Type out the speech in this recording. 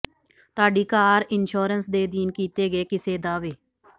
ਤੁਹਾਡੀ car insurance ਦੇ ਅਧੀਨ ਕੀਤੇ ਗਏ ਕਿਸੇ ਦਾਅਵੇ